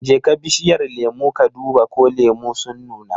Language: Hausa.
Jeka bishiyar lemu ka duba ko lemu sun nuna.